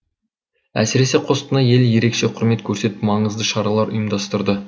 әсіресе қостанай елі ерекше құрмет көрсетіп маңызды шаралар ұйымдастырды